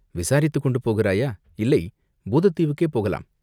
விசாரித்துக்கொண்டு போகிறாயா?" "இல்லை, பூதத் தீவுக்கே போகலாம்.